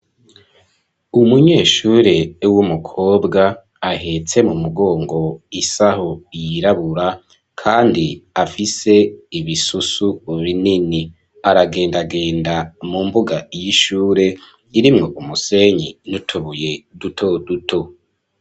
Umunyeshure w'umukobwa ahetse mu mugongo isaho yirabura kandi afise ibisusu binini aragendagenda mu mbuga y'ishure irimwo umusenyi nutobuye duto duto.